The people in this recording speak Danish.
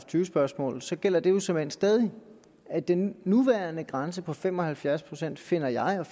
tyve spørgsmål så gælder det jo såmænd stadig at den nuværende grænse på fem og halvfjerds procent finder jeg og